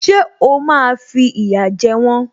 Ṣé o máa fi ìyà jẹ wọ́n?